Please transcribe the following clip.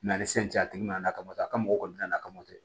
N'a ni san cɛ a tigi nana kabatɔ a ka mɔgɔ kɔni nana ka moto